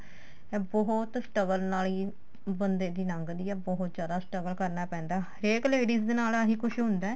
ਇਹ ਬਹੁਤ struggle ਨਾਲ ਹੀ ਬੰਦੇ ਦੀ ਲੰਗਦੀ ਏ ਬਹੁਤ ਜਿਆਦਾ struggle ਕਰਨਾ ਪੈਂਦਾ ਹਰੇਕ ladies ਦੇ ਨਾਲ ਆਹੀ ਕੁੱਝ ਹੁੰਦਾ